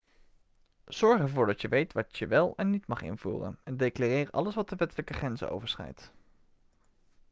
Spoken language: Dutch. zorg ervoor dat je weet wat je wel en niet mag invoeren en declareer alles wat de wettelijke grenzen overschrijdt